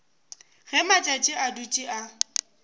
ge matšatši a dutše a